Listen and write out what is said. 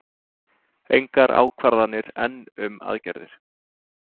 Engar ákvarðanir enn um aðgerðir